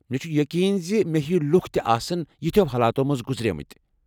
مےٚ چھُ یقین زِ مےٚ ہیوِ لُکھ تہِ آسَن یِتھیٚو حالاتو مٔنٛزِ گُزریمٕتۍ ۔